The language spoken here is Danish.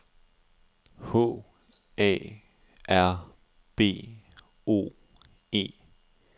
H A R B O E